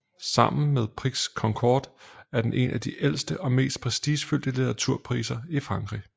Sammen med Prix Goncourt er den en af de ældste og mest prestigefyldte litteraturpriser i Frankrig